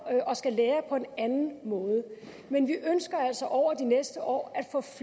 og skal lære på en anden måde men vi ønsker altså over de næste år